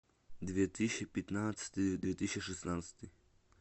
две тысячи пятнадцатый две тысячи шестнадцатый